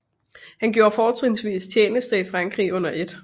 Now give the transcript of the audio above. Han gjorde fortrinsvis tjeneste i Frankrig under 1